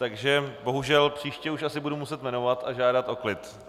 Takže bohužel příště už asi budu muset jmenovat a žádat o klid.